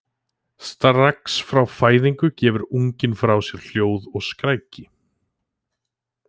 Strax frá fæðingu gefur unginn frá sér hljóð og skræki.